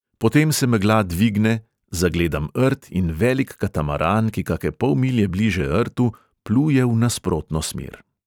Potem se megla dvigne, zagledam rt in velik katamaran, ki kake pol milje bliže rtu pluje v nasprotno smer.